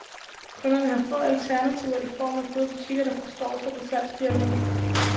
Kunderne har få alternativer i form af gode butikker, der forstår sig på salgsdialogen.